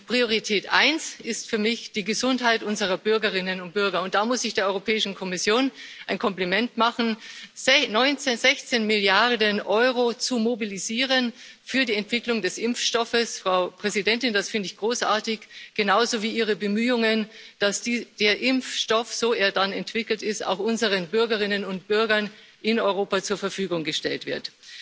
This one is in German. Priorität 1 ist für mich die Gesundheit unserer Bürgerinnen und Bürger, und da muss ich der Europäischen Kommission ein Kompliment machen 16 Milliarden Euro zu mobilisieren für die Entwicklung des Impfstoffes, Frau Präsidentin, das finde ich großartig, genauso wie Ihre Bemühungen, dass der Impfstoff, so er dann entwickelt ist, auch unseren Bürgerinnen und Bürgern in Europa zur Verfügung gestellt wird.